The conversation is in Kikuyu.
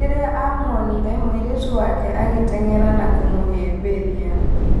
Rĩrĩa amuonire mũirĩtu wake agĩteng'era na kũmũhĩmbĩria